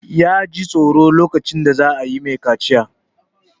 Ya ji tsoro lokacin da za a yi ma shi kaciya.